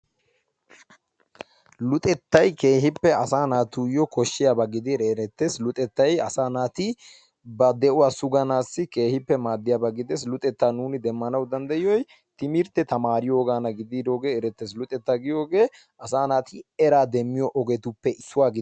Luxettay keehippe asaa naatuyoo koshshiyaaba gididi erettees. luxettay asaa naati ba de'uwaa suganaassi keehippe maaddiyaaba gidees. luxettaa nuuni sugana danddayiyooy timirtte tamaariyoogana gidiroogee erettees. luxettaa giyoogee asaa naati eraa demmiyoo ogetuppe issuwaa